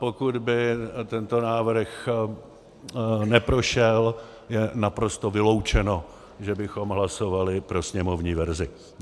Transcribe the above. Pokud by tento návrh neprošel, je naprosto vyloučeno, že bychom hlasovali pro sněmovní verzi.